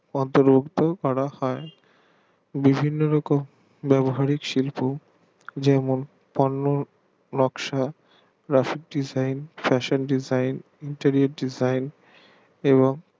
অন্তর্ভুক্ত করা হয় বিভিন্ন রকম ব্যাবহারিক শিল্প যেমন পণ্য নকশা graphikdesignfashinedesignintiriardegine এবং